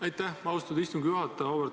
Aitäh, austatud istungi juhataja!